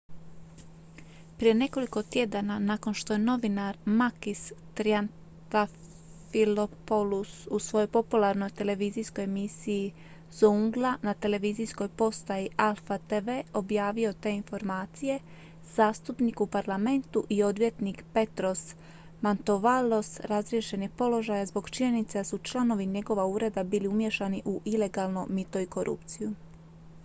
"prije nekoliko tjedana nakon što je novinar makis triantafylopoulos u svojoj popularnoj televizijskoj emisiji "zoungla" na televizijskoj postaji alpha tv objavio te informacije zastupnik u parlamentu i odvjetnik petros mantouvalos razriješen je položaja zbog činjenice da su članovi njegova ureda bili umiješani u ilegalno mito i korupciju.